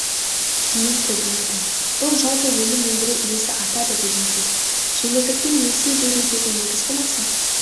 дейін көбейеді бұл жалпы өнім өндіру үлесі артады деген сөз жеңілдікпен несие берудегі негізгі мақсат